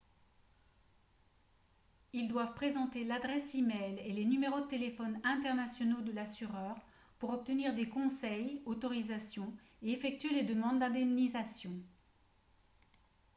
ils doivent présenter l'adresse e-mail et les numéros de téléphone internationaux de l'assureur pour obtenir des conseils/autorisations et effectuer les demandes d'indemnisation